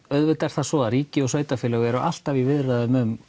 auðvitað er það svo að ríki og sveitafélög eru alltaf í viðræðum um